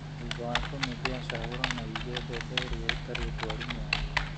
Thutha wa kũmithia cagũra na ũige mbembe iria itarĩ ndwaru mwanya.